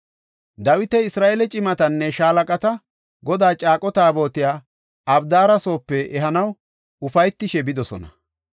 Dawiti, Isra7eele cimatinne shaalaqati Godaa caaqo Taabotiya Abdaara soope ehanaw ufaytishe bidosona.